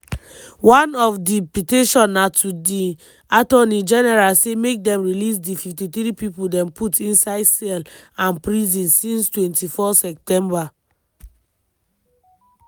one of di petition na to di attorney general say make dem release di 53 pipo dem put inside cell and prison since 24 september.